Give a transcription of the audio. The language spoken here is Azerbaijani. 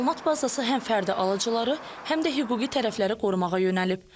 Məlumat bazası həm fərdi alıcıları, həm də hüquqi tərəfləri qorumağa yönəlib.